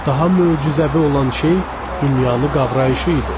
Daha möcüzəvi olan şey dünyanı qavrayışı idi.